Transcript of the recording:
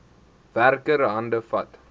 werker hande vat